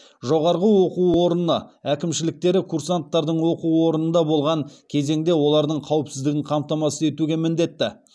жоғарғы оқу орныны әкімшіліктері курсанттардың оқу орнында болған кезеңінде олардың қауіпсіздігін қамтамасыз етуге міндетті